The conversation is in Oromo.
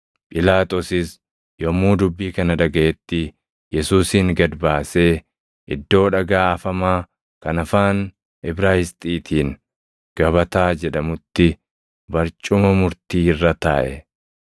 Phiilaaxoosis yommuu dubbii kana dhagaʼetti Yesuusin gad baasee, iddoo “Dhagaa Afamaa” kan afaan Ibraayisxiitiin “Gabataa” jedhamutti barcuma murtii irra taaʼe.